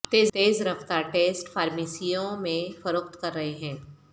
تیز رفتار ٹیسٹ فارمیسیوں میں فروخت کر رہے ہیں